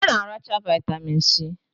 Ha na-aracha vitamin si